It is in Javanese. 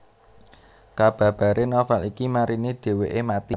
Kababare novel iki marine dheweke mati